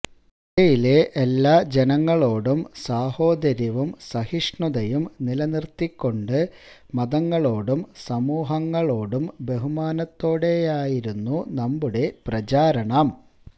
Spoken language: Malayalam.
ഇന്ത്യയിലെ എല്ലാ ജനങ്ങളോടും സാഹോദര്യവും സഹിഷ്ണുതയും നിലനിര്ത്തിക്കൊണ്ട് മതങ്ങളോടും സമൂഹങ്ങളോടും ബഹുമാനത്തോടെയായിരുന്നു നമ്മുടെ പ്രചാരണം